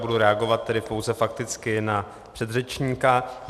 Budu reagovat tedy pouze fakticky na předřečníka.